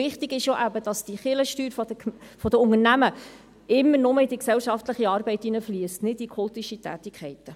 Wichtig ist, dass die Kirchensteuern der Unternehmen nur in die gesellschaftliche Arbeit hineinfliessen, nicht in kultische Tätigkeiten.